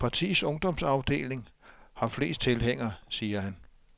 Partiets ungdomsafdeling har flest tilhængere, siger han.